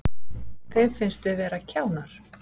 Þeim finnst við vera kjánar